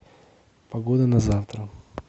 погода на завтра